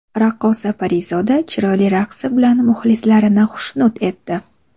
Raqqosa Parizoda chiroyli raqsi bilan muxlislarini xushnud etdi.